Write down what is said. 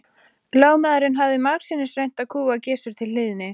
Lögmaðurinn hafði margsinnis reynt að kúga Gizur til hlýðni.